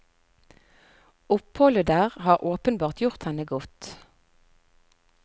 Oppholdet der har åpenbart gjort henne godt.